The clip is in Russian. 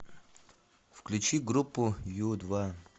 включи группу ю два